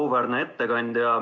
Auväärne ettekandja!